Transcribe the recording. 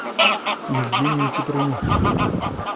евгению чуприну